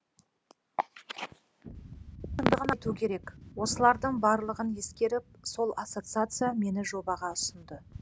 шындығын айту керек осылардың барлығын ескеріп сол ассоциация мені жобаға ұсынды